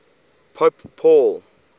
pope paul